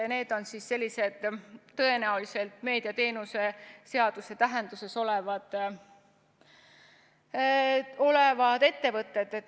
Need on tõenäoliselt meediateenuse seaduse tähenduses olevad ettevõtted.